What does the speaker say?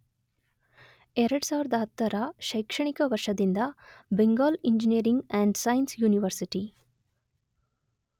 ೨೦೧೦ರ ಶೈಕ್ಷಣಿಕ ವರ್ಷದಿಂದ Bengal engineering and science university